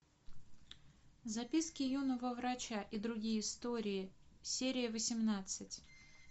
записки юного врача и другие истории серия восемнадцать